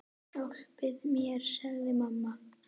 Hjálpi mér, sagði mamma.